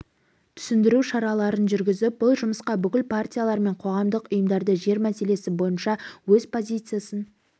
түсіндіру шараларын жүргізіп бұл жұмысқа бүкіл партиялар мен қоғамдық ұйымдарды жер мәселесі бойынша өз позициясын